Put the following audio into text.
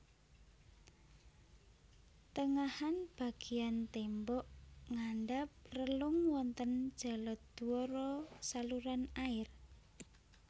Tengahan bagéan témbok ngandhap relung wonten jaladwara saluran air